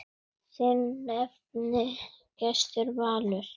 Þinn nafni, Gestur Valur.